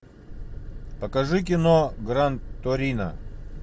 покажи кино гран торино